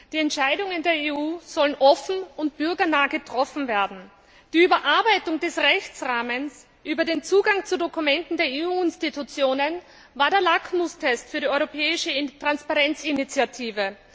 Die Entscheidungen der EU sollen offen und bürgernah getroffen werden. Die Überarbeitung des Rechtsrahmens über den Zugang zu Dokumenten der EU Institutionen war der Lackmustest für die europäische Transparenzinitiative.